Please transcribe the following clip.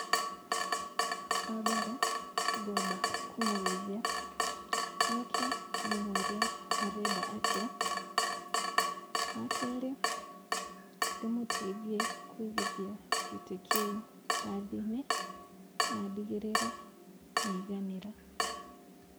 Wa mbere, ngũamba kũmũgeithia, njoke ndĩmũũrie arenda atĩa, wa kerĩ, ndĩmũteithie kũigithia gĩtĩ kĩũ mbathi-inĩ, na ndigĩrĩre nĩ aiganĩra.